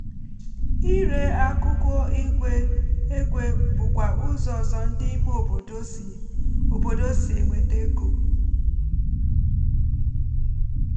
ịre akụkụ igwe egwe bụkwa ụzọ ọzọ ndị ime obodo si obodo si enweta ego.